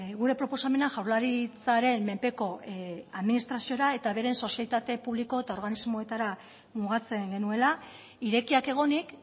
gure proposamena jaurlaritzaren menpeko administraziora eta beren sozietate publiko eta organismoetara mugatzen genuela irekiak egonik